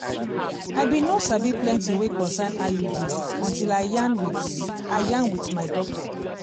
i bin no sabi plenti wey concern iud until i yarn wit i yarn wit my doctor